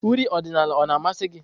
uri ọdịnala o na-amasị gị?